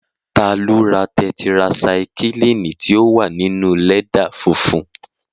Ta ló ra tẹtirasaikílìnì tí ó wà ní inúu lẹ́dà funfun